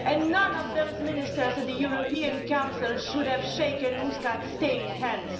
None of those ministers at the European Council should have shaken Muscat's stained hands.